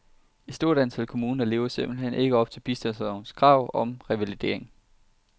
Et stort antal kommuner lever simpelthen ikke op til bistandslovens krav omkring revalidering.